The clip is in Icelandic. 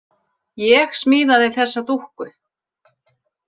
Ég smíðaði þessa dúkku.